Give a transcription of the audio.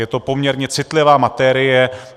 Je to poměrně citlivá materie.